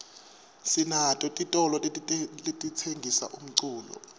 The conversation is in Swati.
sinato titolo letitsengisa umculo